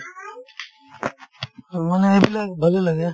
অ, মানে এইবিলাক ভালে লাগে